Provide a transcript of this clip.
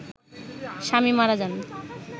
স্বামী মারা যান